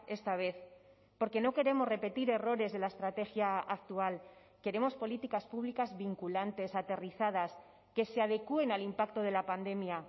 esta vez porque no queremos repetir errores de la estrategia actual queremos políticas públicas vinculantes aterrizadas que se adecuen al impacto de la pandemia